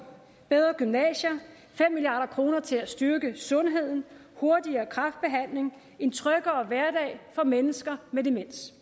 bedre gymnasier fem milliard kroner til at styrke sundheden hurtigere kræftbehandling en tryggere hverdag for mennesker med demens